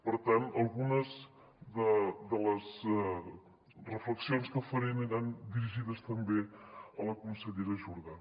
per tant algunes de les reflexions que faré aniran dirigides també a la consellera jordà